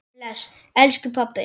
Bless, elsku pabbi.